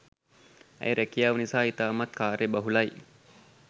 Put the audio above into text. ඇය රැකියාව නිසා ඉතාමත් කාර්ය බහුලයි